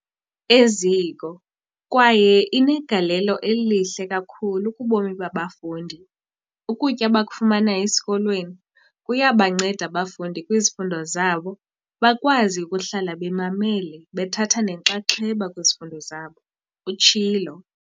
"eziko kwaye inegalelo elihle kakhulu kubomi babafundi. Ukutya abakufumana esikolweni kuyabanceda abafundi kwizifundo zabo, bakwazi ukuhlala bemamele bethatha nenxaxheba kwizifundo zabo," utshilo.